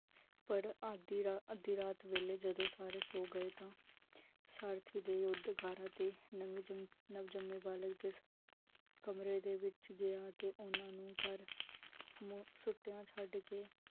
ਪਾਰ ਅੱਦੀ ਰਾਤ ਅੱਦੀ ਰਾਤ ਵੇਲੇ ਜਦੋ ਸੋ ਗਏ ਤਾਂ, ਸਾਰਥੀ ਦੇ ਯੁਧਕਰ ਅਤੇ ਨਵਜੰਮੇ ਬਾਲਕ ਦੇ ਕਮਰੇ ਦੇ ਵਿਚ ਗਿਆ, ਤੇ ਓਹਨਾ ਨੂੰ ਘਰ ਸੁਤਿਆਂ ਛੱਡ ਕੇ